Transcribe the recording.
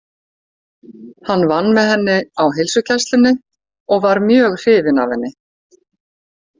Hann vann með henni á heilsugæslunni og var mjög hrifinn af henni.